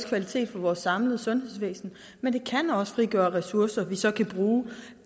kvalitet for vores samlede sundhedsvæsen men det kan også frigøre ressourcer vi så kan bruge